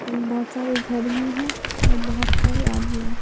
बहुत सारे घर भी हैं और बहुत सारे आदमी हैं।